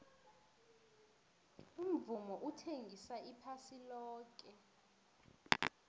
umvumo uthengisa iphasi loke